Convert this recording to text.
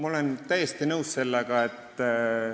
Aitäh küsimuse eest!